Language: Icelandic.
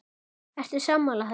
Ertu sammála þessu?